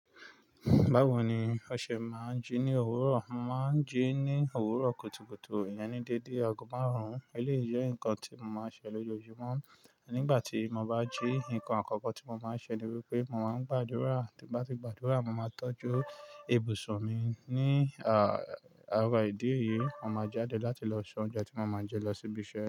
Bawo ni ọṣẹ ma n ji ni owuro, mo ma n ji ni owuro kutukutu, iyẹn ni dede, agogo maa run. Eleyi je nkan ti mo ma n ṣe lojoojumọ nigbati mo ba ji, nkan akọkọ ti mo ma n ṣe ni wipe mo ma n gbadura, nigbati mo ba gbadura mo ma n tọju ibusun mi ni ara idi eyi, mo ma jade lati lo se ounjẹ ti mo ma je, lo si biṣẹ.